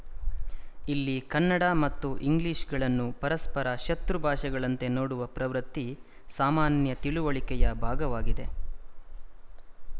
ಇಲ್ಲಿ ಕನ್ನಡ ಮತ್ತು ಇಂಗ್ಲಿಶ‍ಗಳನ್ನು ಪರಸ್ಪರ ಶತ್ರು ಭಾಷೆಗಳಂತೆ ನೋಡುವ ಪ್ರವೃತ್ತಿ ಸಾಮಾನ್ಯ ತಿಳುವಳಿಕೆಯ ಭಾಗವಾಗಿದೆ